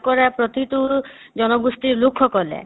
বাস কৰা প্ৰতিটো জনগোষ্ঠিৰ লোকসকলে